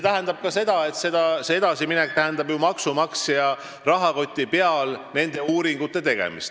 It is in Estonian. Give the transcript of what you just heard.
See edasiminek aga tähendab ju maksumaksja rahakoti peal nende uuringute tegemist.